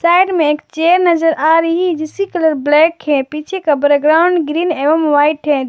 Side में एक chair नजर आ रही है जिसकी कलर ब्लैक है पीछे का बैकग्राउंड ग्रीन एवं व्हाइट है।